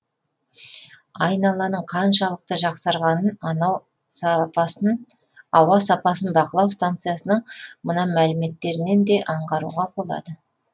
айналаның қаншалықты жақсарғанын анау сапасын бақылау станциясының мына мәліметтерінен де аңғаруға болады